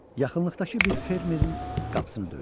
Yaxınlıqdakı bir fermerin qapısını döydü.